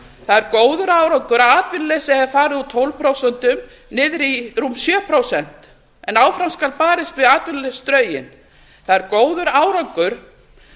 það er góður árangur að atvinnuleysi hefur farið úr tólf prósent niður í rúm sjö prósent en áfram skal barist við atvinnuleysisdrauginn það er góður árangur